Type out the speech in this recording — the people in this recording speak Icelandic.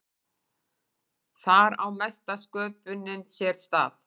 Þar á mesta sköpunin sér stað.